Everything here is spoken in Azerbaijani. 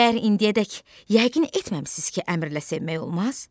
Məyər indiyədək yəqin etməmisiz ki, əmrlə sevmək olmaz?